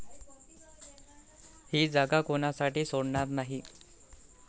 ही जागा कोणासाठी सोडणार नाही.